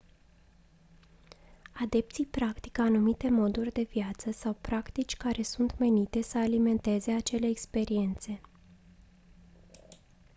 adepții practică anumite moduri de viață sau practici care sunt menite să alimenteze acele experiențe